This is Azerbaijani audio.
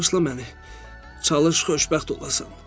Bağışla məni, çalış xoşbəxt olasan.